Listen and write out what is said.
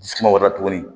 Dusu suma wɛrɛ tuguni